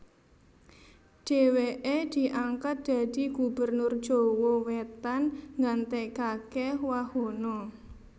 Dhèwèké diangkat dadi Gubernur Jawa Wétan nggantèkaké Wahono